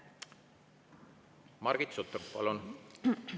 Margit Sutrop, palun!